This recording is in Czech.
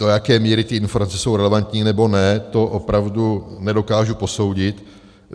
Do jaké míry ty informace jsou relevantní, nebo ne, to opravdu nedokážu posoudit.